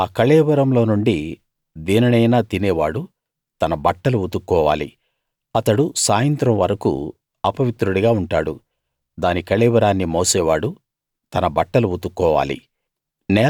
ఆ కళేబరములోనుండి దేనినైనా తినేవాడు తన బట్టలు ఉతుక్కోవాలి అతడు సాయంత్రం వరకూ అపవిత్రుడిగా ఉంటాడు దాని కళేబరాన్ని మోసేవాడు తన బట్టలు ఉతుక్కోవాలి